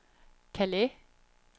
Calais